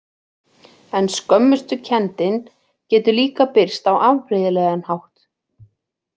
En skömmustukenndin getur líka birst á afbrigðilegan hátt.